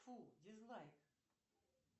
фу дизлайк